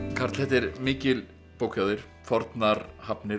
karl þetta er mikil bók hjá þér fornar hafnir